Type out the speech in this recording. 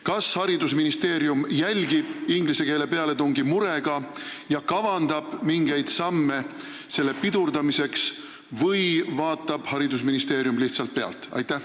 Kas haridusministeerium jälgib inglise keele pealetungi murega ja kavandab mingeid samme selle pidurdamiseks või vaatab lihtsalt pealt?